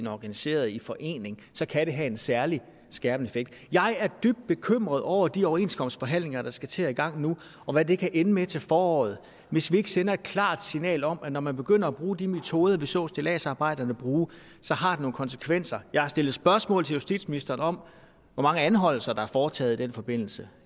organiseret i forening så kan det have en særligt skærpende effekt jeg er dybt bekymret over de overenskomstforhandlinger der skal til at i gang nu og hvad det kan ende med til foråret hvis vi ikke sender et klart signal om at når man begynder at bruge de metoder vi så stilladsarbejderne bruge så har det nogle konsekvenser jeg har stillet spørgsmål til justitsministeren om hvor mange anholdelser der er foretaget i den forbindelse